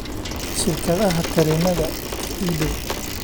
shirkadaha tareennada ee ii dhow